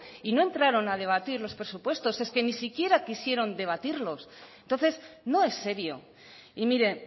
y no entraron a debatir los presupuestos es que ni siquiera quisieron debatirlos entonces no es serio y mire